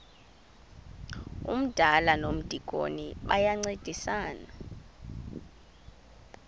umdala nomdikoni bayancedisana